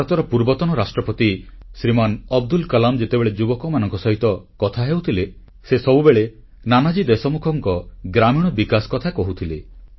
ଭାରତର ପୂର୍ବତନ ରାଷ୍ଟ୍ରପତି ଶ୍ରୀମାନ ଅବଦୁଲ କଲାମ୍ ଯେତେବେଳେ ଯୁବକମାନଙ୍କ ସହିତ କଥା ହେଉଥିଲେ ସେ ସବୁବେଳେ ନାନାଜୀ ଦେଶମୁଖଙ୍କ ଗ୍ରାମୀଣ ବିକାଶ କଥା କହୁଥିଲେ